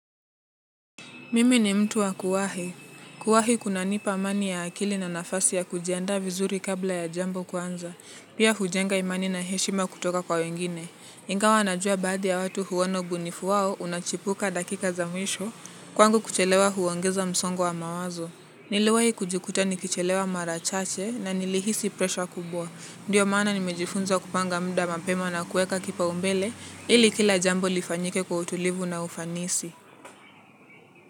Mimi ni mtu wa kuwahi. Kuwahi kunanipa amani ya akili na nafasi ya kujiandaa vizuri kabla ya jambo kuanza. Pia hujenga imani na heshima kutoka kwa wengine. Ingwa najua baadhi ya watu huona ubunifu wao unachipuka dakika za mwisho. Kwangu kuchelewa huongeza msongo wa mawazo. Niliwai kujikuta nikichelewa mara chache na nilihisi pressure kubwa. Ndiyo maana nimejifunza kupanga muda mapema na kuweka kipaumbele ili kila jambo lifanyike kwa utulivu na ufanisi.